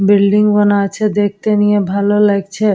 Building বানা আছে দেখতে নিয়ে ভালো লাগছে।